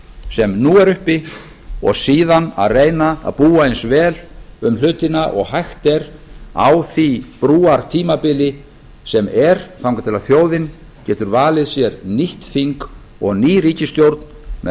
sem nú er uppi og síðan að reyna að búa eins vel um hlutina og hægt er á því brúartímabili sem er þangað til þjóðin getur valið sér nýtt þing og nýja ríkisstjórn með